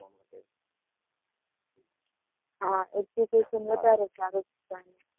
હા, education વધારે સારું, ત્યાંનું